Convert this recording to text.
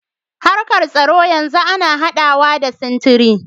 Harkar tsaro yanzu ana haɗawa da sintiri.